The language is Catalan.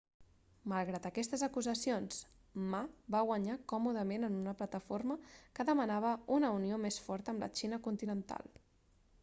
malgrat aquestes acusacions ma va guanyar còmodament en una plataforma que demanava una unió més forta amb la xina continental